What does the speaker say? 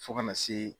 Fo kana se